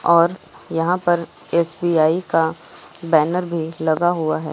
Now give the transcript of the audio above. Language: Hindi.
और यहां पर एस_बी_आई का बैनर भी लगा हुआ है।